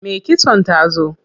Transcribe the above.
Me kitson ta zo.